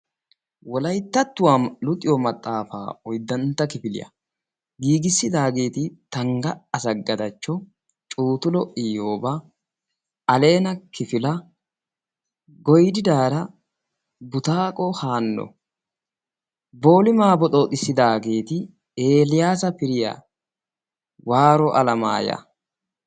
Wolayttattuwa luxiyo maxaafa oyddantta kifiliya giigissidaageeti tangga asagadachcho, cuuttulo iyooba, alleena kifila, goyddiidaara butaaqo haano boolima boxxoxissidaageeti elaassa firiyaa, waaro alamayya